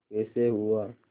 कैसे हुआ